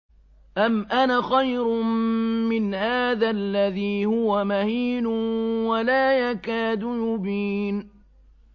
أَمْ أَنَا خَيْرٌ مِّنْ هَٰذَا الَّذِي هُوَ مَهِينٌ وَلَا يَكَادُ يُبِينُ